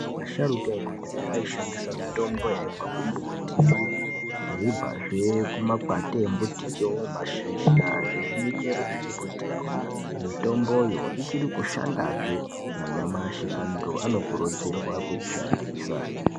Asharuka ekudhaya aishandisa mitombo yaibva kumbuti yeibvazve kumakwati embutiyo, mashizha nemichero zvembutiyo. Mitomboyo ichiri kushandazve nanyamashi, antu anokurudzirwa kuishandisa.